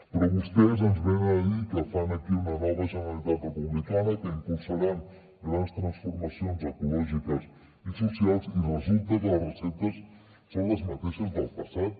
però vostès ens venen a dir que fan aquí una nova generalitat republicana que impulsaran grans transformacions ecològiques i socials i resulta que les receptes són les mateixes del passat